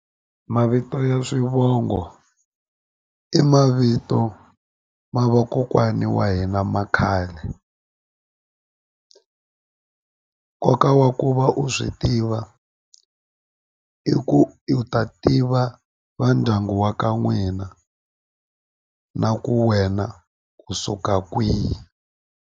Mavito ya swivongo i mavito ma vakokwani wa hina ma khale nkoka wa ku u va u swi tiva i ku u ta tiva va ndyangu wa ka n'wina na ku wena u suka kwihi.